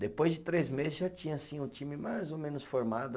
Depois de três meses já tinha assim o time mais ou menos formado.